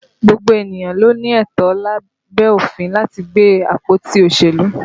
Gbogbo ènìyàn ló ní ẹ̀tọ́ lábẹ́ òfin láti gbé àpótí òṣèlú